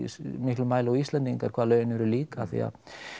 miklum mæli og Íslendingar hvað lögin eru lík af því að